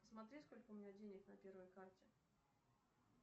посмотри сколько у меня денег на первой карте